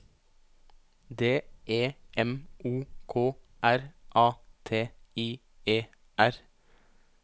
D E M O K R A T I E R